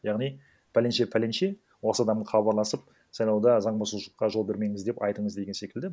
яғни пәленше пәленше осы адаммен хабарласып сайлауда заң бұзушылыққа жол бермеңіз деп айтыңыз деген секілді